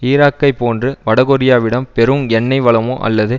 ஈராக்கைப் போன்று வடகொரியாவிடம் பெரும் எண்ணெய் வளமோ அல்லது